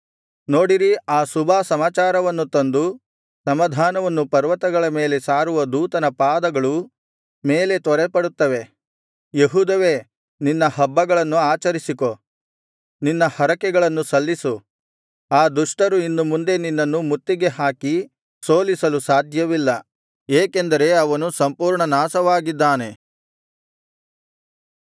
ನೋಡಿರಿ ಆ ಶುಭಸಮಾಚಾರವನ್ನು ತಂದು ಸಮಾಧಾನವನ್ನು ಪರ್ವತಗಳ ಮೇಲೆ ಸಾರುವ ದೂತನ ಪಾದಗಳು ಮೇಲೆ ತ್ವರೆಪಡುತ್ತವೆ ಯೆಹೂದವೇ ನಿನ್ನ ಹಬ್ಬಗಳನ್ನು ಆಚರಿಸಿಕೋ ನಿನ್ನ ಹರಕೆಗಳನ್ನು ಸಲ್ಲಿಸು ಆ ದುಷ್ಟರು ಇನ್ನು ಮುಂದೆ ನಿನ್ನನ್ನು ಮುತ್ತಿಗೆ ಹಾಕಿ ಸೋಲಿಸಲು ಸಾಧ್ಯವಿಲ್ಲ ಏಕೆಂದರೆ ಅವನು ಸಂಪೂರ್ಣ ನಾಶವಾಗಿದ್ದಾನೆ